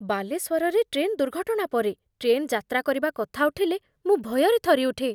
ବାଲେଶ୍ୱରରେ ଟ୍ରେନ୍ ଦୁର୍ଘଟଣା ପରେ, ଟ୍ରେନ୍ ଯାତ୍ରା କରିବା କଥା ଉଠିଲେ ମୁଁ ଭୟରେ ଥରିଉଠେ।